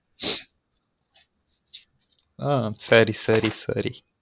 ஆ சரி சரி சரி